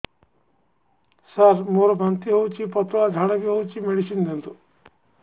ସାର ମୋର ବାନ୍ତି ହଉଚି ପତଲା ଝାଡା ବି ହଉଚି ମେଡିସିନ ଦିଅନ୍ତୁ